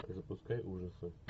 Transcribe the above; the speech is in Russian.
запускай ужасы